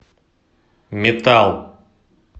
метал